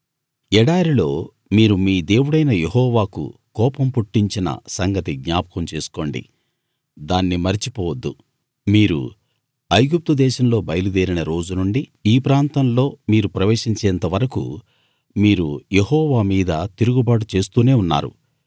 ఎడారిలో మీరు మీ దేవుడైన యెహోవాకు కోపం పుట్టించిన సంగతి జ్ఞాపకం చేసుకోండి దాన్ని మరచిపోవద్దు మీరు ఐగుప్తు దేశంలో బయలుదేరిన రోజు నుండి ఈ ప్రాంతంలో మీరు ప్రవేశించేంత వరకూ మీరు యెహోవా మీద తిరుగుబాటు చేస్తూనే ఉన్నారు